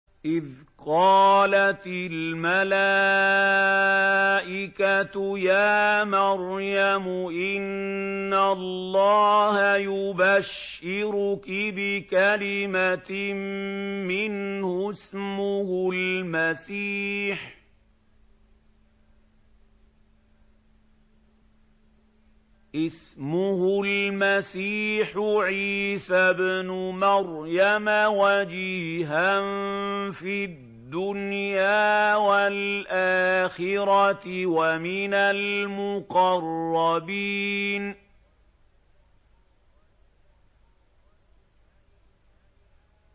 إِذْ قَالَتِ الْمَلَائِكَةُ يَا مَرْيَمُ إِنَّ اللَّهَ يُبَشِّرُكِ بِكَلِمَةٍ مِّنْهُ اسْمُهُ الْمَسِيحُ عِيسَى ابْنُ مَرْيَمَ وَجِيهًا فِي الدُّنْيَا وَالْآخِرَةِ وَمِنَ الْمُقَرَّبِينَ